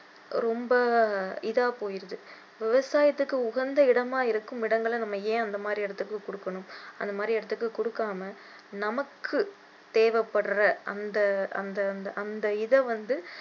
ரொம்ப இதா போயிடுது விவசாயத்தைுக்கு உகந்த இடமா இருக்கும் இடங்களை நம்ம ஏன் அந்த மாதிரி இடத்துக்கு கொடுக்கணும் அந்த மாதிரி இடத்துக்கு கொடுக்காம நமக்கு தேவைப்படுற அந்த அந்த அந்த இதை வந்து